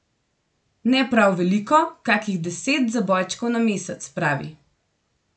Ne prav veliko, kakih deset zabojčkov na mesec, pravi.